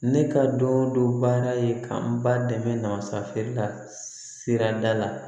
Ne ka don dɔ baara ye ka n ba dɛmɛ na masakɛ la sirada la